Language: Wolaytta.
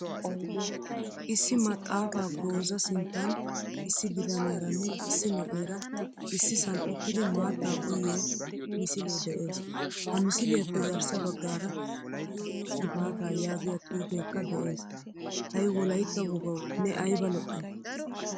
Issi maxaafaa gooza sinttan issi bitaniyaranne issi na'eera issisan uttidi maataa uyiyo misile de'ees. Ha misliyappe garssa baggaara yoo yoo gifaataa yaagiyaa xuufekka de'ees. hay wolaytta wogawu ne ayba lo'ay.